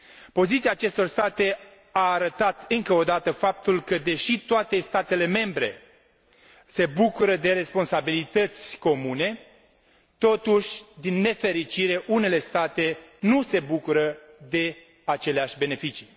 Poziția acestor state a arătat, încă o dată, faptul că, deși toate statele membre se bucură de responsabilități comune, totuși, din nefericire, unele state nu se bucură de aceleași beneficii.